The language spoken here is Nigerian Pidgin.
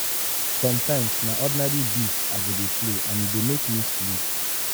sometimes na ordinary beats i go dey play and e go make me sleep.